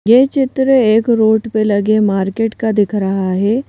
यह चित्र एक रोड पे लगे मार्केट का दिख रहा है।